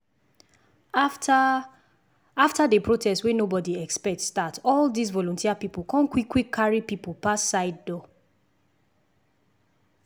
after after the protest wey nobody expect start all this volunteer people con quick quick carry people pass side door.